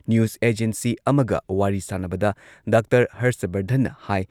news agency ꯑꯃꯒ ꯋꯥꯔꯤ ꯁꯥꯟꯅꯕꯗ ꯗꯥ ꯍꯔꯁ ꯕꯔꯙꯟꯅ ꯍꯥꯏ